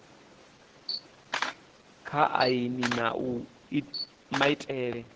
kha aini na uri maitele